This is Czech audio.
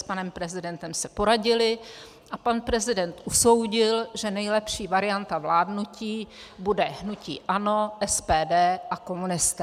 S panem prezidentem se poradili a pan prezident usoudil, že nejlepší varianta vládnutí bude hnutí ANO, SPD a komunisté.